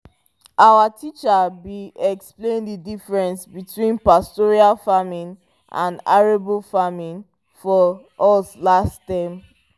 our teacher be explain the diffrence between pastoral farming and arable farming for us last term